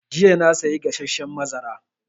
Jiya na saya gasasshen mazara